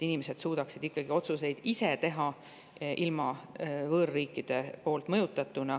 Inimesed peaksid suutma otsuseid ikkagi ise teha, olemata võõrriikide poolt mõjutatud.